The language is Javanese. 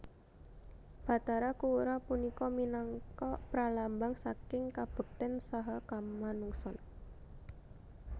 Bathara Kuwera punika minangka pralambang saking kabekten saha kamanungsan